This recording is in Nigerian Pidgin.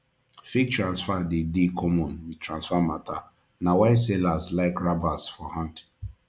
fake transfer dey dey common with transfer mata na why sellers like rabas for hand